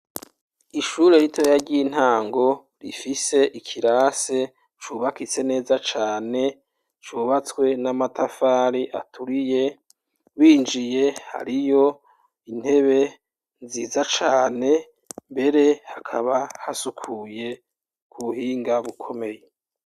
Ishure ritoya ry'intango rifise ikirase cubakitse neza cane cubatswe n'amatafari aturiye, winjiye hariyo intebe nziza cane mbere hakaba hasukuye ku buhinga bukomeye.